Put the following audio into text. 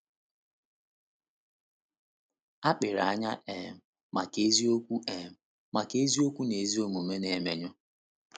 Akpịrị anyị um maka eziokwu um maka eziokwu na ezi omume na-emenyụ.